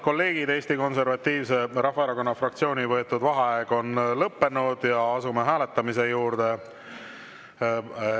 Eesti Konservatiivse Rahvaerakonna fraktsiooni võetud vaheaeg on lõppenud ja asume hääletamise juurde.